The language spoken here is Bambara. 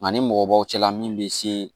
Nka ni mɔgɔbaw cɛla min bɛ se